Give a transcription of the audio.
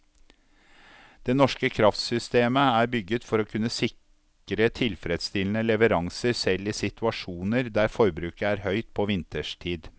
Det norske kraftsystemet er bygget for å kunne sikre tilfredsstillende leveranser selv i situasjoner der forbruket er høyt på vinterstid.